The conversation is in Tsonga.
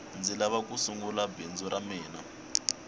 ndzi lava ku sungula bindzu ra mina